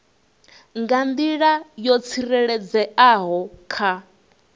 nga nḓila yo tsireledzeaho kha